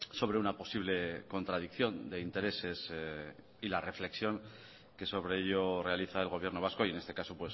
sobre una posible contradicción de intereses y la reflexión que sobre ello realiza el gobierno vasco y en este caso